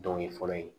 Dɔw ye fɔlɔ ye